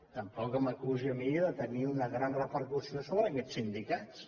tampoc m’acusi a mi de tenir una gran repercussió sobre aquests sindicats